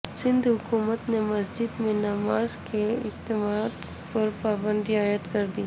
سندھ حکومت نے مساجد میں نماز کے اجتماعات پر پابندی عائد کردی